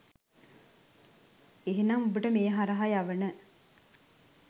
එනම් ඔබට මේ හරහා යවන